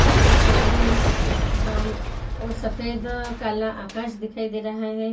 इस तस्वीर मैं अम वो सफ़ेद काला आकाश दिखाई दे रहा है।